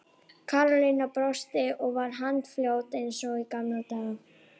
Karólína brosti og var handfljót eins og í gamla daga.